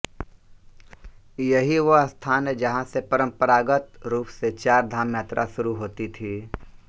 यही वह स्थान है जहां से परम्परागत रूप से चार धाम यात्रा शुरु होती थी